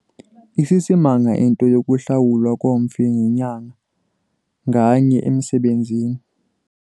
Isisimanga into yokuhlawulwa komfi ngenyanga nganye emsebenzini.